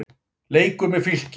Leikur með Fylki.